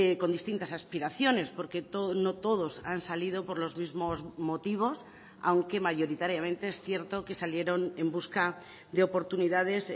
con distintas aspiraciones porque no todos han salido por los mismos motivos aunque mayoritariamente es cierto que salieron en busca de oportunidades